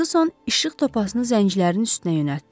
Ferquson işıq topasını zəncirlərinin üstünə yönəltdi.